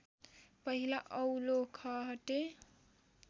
पहिला औलो खहटे